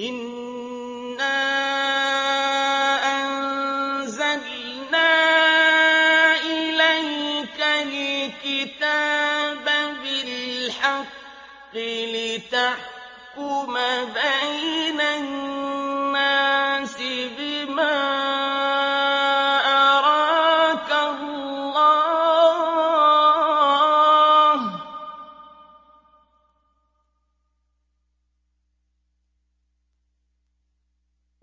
إِنَّا أَنزَلْنَا إِلَيْكَ الْكِتَابَ بِالْحَقِّ لِتَحْكُمَ بَيْنَ النَّاسِ بِمَا أَرَاكَ اللَّهُ ۚ